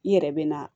I yɛrɛ bɛ na